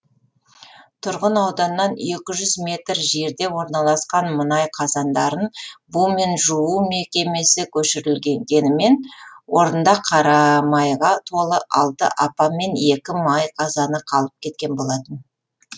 тұрғын ауданнан екі жүз метр жерде орналасқан мұнай қазандарын бумен жуу мекемесі көшірілгенімен орнында қарамайға толы алты апан мен екі май қазаны қалып кеткен болатын